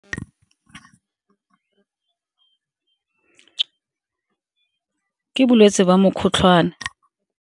Ke ke bolwetse ba mokgotlhwane.